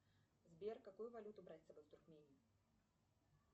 сбер какую валюту брать с собой в туркмению